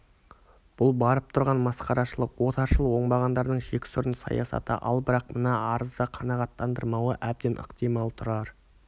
бұл барып тұрған масқарашылық отаршыл оңбағандардың жексұрын саясаты ал бірақ мына арызды қанағаттандырмауы әбден ықтимал тұрар